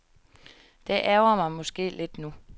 Det ærgrer mig måske lidt nu.